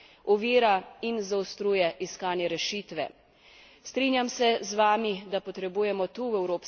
Strinjam se z vami, da potrebujemo tu, v Evropskem parlamentu, močno, skupno evropsko sporočilo.